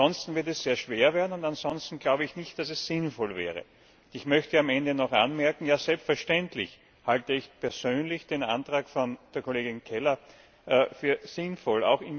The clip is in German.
Ansonsten wird es sehr schwer werden, und ansonsten glaube ich nicht, dass es sinnvoll wäre. Ich möchte am Ende noch anmerken Ja, selbstverständlich halte ich persönlich den Antrag der Kollegin Keller für sinnvoll.